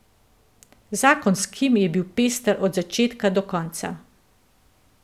Zakon s Kim je bil pester od začetka do konca.